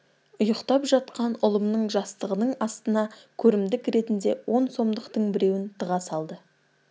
ұйықтап жатқан ұлымның жастығының астына көрімдік ретінде он сомдықтың біреуін тыға салды